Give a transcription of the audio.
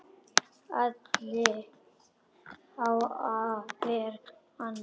Alli á að ver ann!